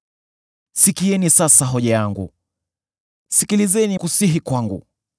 Sikieni sasa hoja yangu; sikilizeni kusihi kwangu.